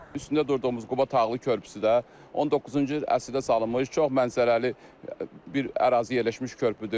Üstündə durduğumuz Quba Tağlı Körpüsü də 19-cu əsrdə salınmış çox mənzərəli bir ərazi yerləşmiş körpüdür.